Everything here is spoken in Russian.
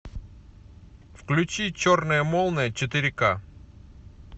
включи черная молния четыре ка